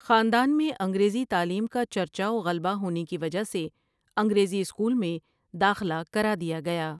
خاندان میں انگریزی تعلیم کا چرچہ وغلبہ ہونے کی وجہ سے انگریزی اسکول میں داخلہ کرادیا گیا ۔